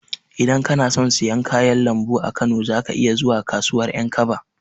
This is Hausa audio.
Idan kana son siyan kayan lambu a Kano, za ka iya zuwa kasuwar Ƴankaba.